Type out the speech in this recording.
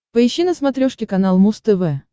поищи на смотрешке канал муз тв